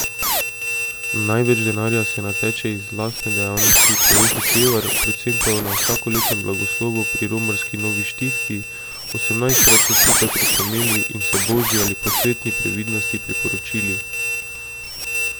Največ denarja se nateče iz lastne dejavnosti, pove Hočevar, predvsem na vsakoletnem blagoslovu pri romarski Novi Štifti, osemnajstkrat so skupaj prihrumeli in se božji ali posvetni previdnosti priporočili.